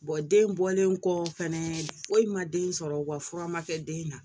den bɔlen kɔ fɛnɛ foyi ma den sɔrɔ wa fura ma kɛ den na